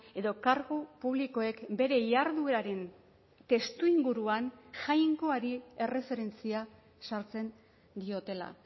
edo kargu publikoek bere jardueraren testuinguruan jainkoari erreferentzia sartzen diotela